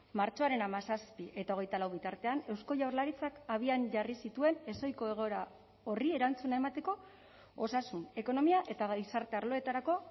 martxoaren hamazazpi eta hogeita lau bitartean eusko jaurlaritzak abian jarri zituen ezohiko egoera horri erantzuna emateko osasun ekonomia eta gizarte arloetarako